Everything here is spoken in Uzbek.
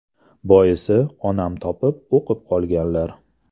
Boisi, onam topib o‘qib qolganlar.